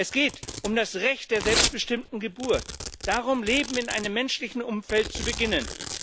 Es geht um das Recht der selbstbestimmten Geburt, es geht darum, Leben in einem menschlichen Umfeld zu beginnen.